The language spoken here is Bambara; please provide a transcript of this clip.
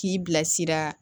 K'i bilasira